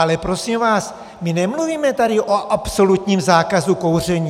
Ale prosím vás, my nemluvíme tady o absolutním zákazu kouření!